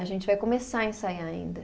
A gente vai começar a ensaiar ainda.